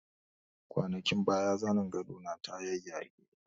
Kwanakin baya zanin gado na ta yayyage